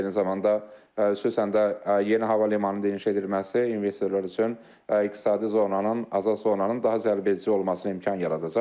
Eyni zamanda, xüsusən də yeni hava limanının inşa edilməsi investorlar üçün iqtisadi zonanın, azad zonanın daha cəlbedici olmasına imkan yaradacaq.